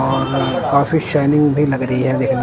और काफी शाइनिंग भी लग रही है देख--